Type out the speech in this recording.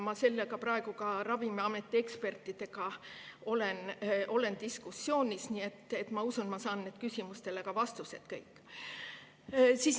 Ma sel teemal pean Ravimiameti ekspertidega diskussiooni ja ma usun, et saan nendele küsimustele ka vastused.